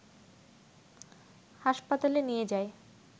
হাসপাতালে নিয়ে যায়